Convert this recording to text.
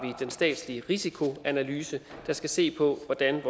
den statslige risikoanalyse der skal se på hvordan